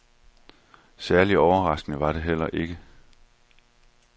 Særlig overraskende var det heller ikke.